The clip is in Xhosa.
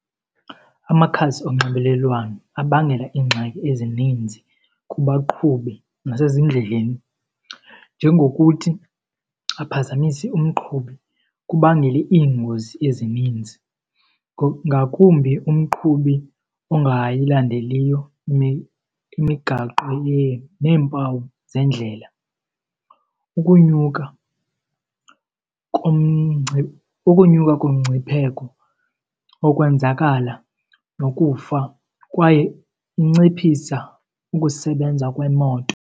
Amakhasi onxibelelwano abangela iingxaki ezininzi kubaqhubi nasezindleleni njengokuthi aphazamise umqhubi kubangele iingozi ezininzi ngakumbi umqhubi ongayilindeliyo imigaqo neempawu zendlela, ukunyuka ukunyuka komngcipheko wokwenzakala nokufa kwaye inciphisa ukusebenza kwemoto.